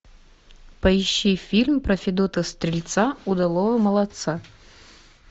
поищи фильм про федота стрельца удалого молодца